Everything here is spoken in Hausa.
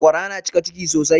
Sakwara na cika ciki sosai